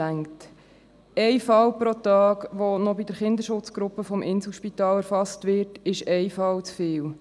Ein Fall pro Tag, der bei der Kinderschutzgruppe des Inselspitals erfasst wird, ist ein Fall zu viel.